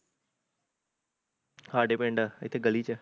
ਸਾਡੇ ਪਿੰਡ, ਇੱਥੇ ਗਲੀ ਚ